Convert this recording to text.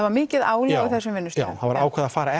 var mikið álag á þessum vinnustöðum já það var ákveðið að fara